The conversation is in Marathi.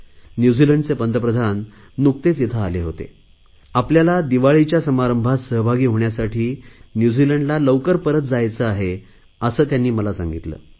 न्यूझिलंडचे पंतप्रधान नुकतेच येथे आले होते आपल्याला दिवाळीच्या समारंभात सहभागी होण्यासाठी न्यूझिलंडला लवकर परत जायचे आहे असे त्यांनी मला सांगितले